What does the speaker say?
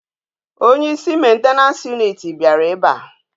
Onye isi maintenance unit biara ebe a